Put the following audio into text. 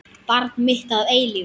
Barn mitt að eilífu.